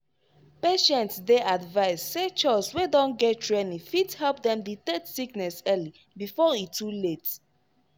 patients dey advised say chws wey don get training fit help dem detect sickness early before e too late.